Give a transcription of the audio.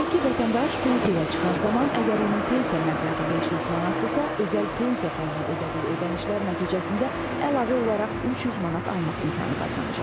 Qeyd edək ki, vətəndaş pensiyaya çıxan zaman əgər onun pensiya məbləği 500 manatdırsa, özəl pensiya fonduna ödədiyi ödənişlər nəticəsində əlavə olaraq 300 manat almaq imkanı qazanacaq.